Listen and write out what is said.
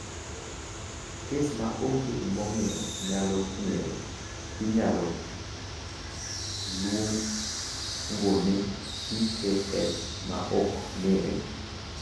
"Kes ma onge gimomiyo nyalo ng’ere inyalo luongo ni ""PAH ma ok ng'ere""."